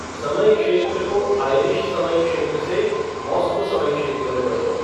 समय क्षेत्र को आयरिश समय क्षेत्र से मास्को समय क्षेत्र में बदलो